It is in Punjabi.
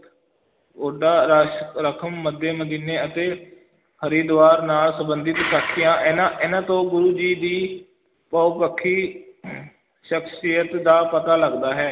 ਕੌਡਾ ਰਾਖਸ਼ ਮੱਕੇ-ਮਦੀਨੇ ਅਤੇ ਹਰਿਦੁਆਰ ਨਾਲ ਸੰਬੰਧਿਤ ਸਾਖੀਆਂ, ਇਹਨਾਂ ਇਹਨਾਂ ਤੋਂ ਗੁਰੂ ਜੀ ਦੀ ਬਹੁਪੱਖੀ ਸ਼ਖ਼ਸੀਅਤ ਦਾ ਪਤਾ ਲੱਗਦਾ ਹੈ।